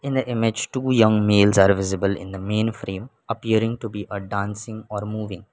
in the image two young males are visible in the main frame appearing to be a dancing or moving.